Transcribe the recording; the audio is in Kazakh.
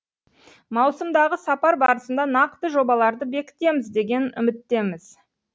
маусымдағы сапар барысында нақты жобаларды бекітеміз деген үміттеміз